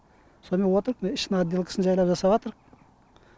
сонымен отырқ міне ішін отделкасын жәйлап жасаватрқ